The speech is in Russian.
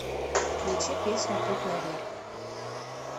включи песню путь наверх